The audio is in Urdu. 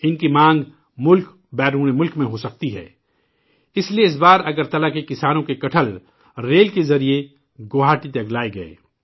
انکی مانگ ملک و بیرون ملک میں ہو سکتی ہے، اسلئے اس بار اگرتلہ کے کسانوں کے کٹہل ریل کے ذریعہ گوہاٹی تک لائے گئے